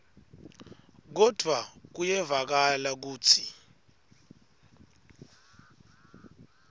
kodvwa kuyevakala kutsi